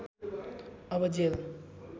अब जेल